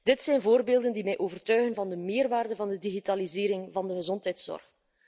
Dit zijn voorbeelden die mij overtuigen van de meerwaarde van de digitalisering van de gezondheidszorg.